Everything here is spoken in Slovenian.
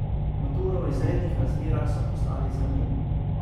Maturo v izrednih razmerah so poslali za njim.